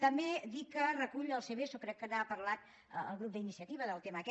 també dir que recull el seveso crec que n’ha parlat el grup d’iniciativa del tema aquest